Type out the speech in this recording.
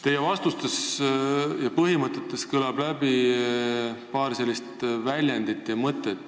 Teie vastustest ja põhimõtetest kõlab läbi paar väljendit ja mõtet.